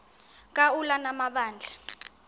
ka ulana amabandla